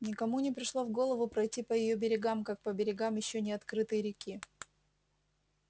никому не пришло в голову пройти по её берегам как по берегам ещё не открытой реки